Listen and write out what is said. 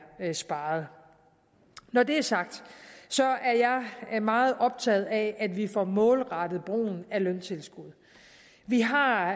sparet når det er sagt er jeg meget optaget af at vi får målrettet brugen af løntilskud vi har